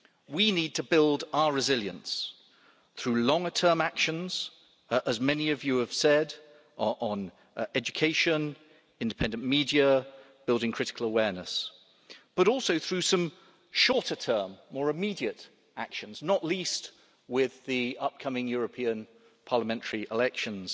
We need to build our resilience through longer term actions as many of you have said on education, independent media and building critical awareness, but also through some shorter term, more immediate actions, not least with the upcoming European parliamentary elections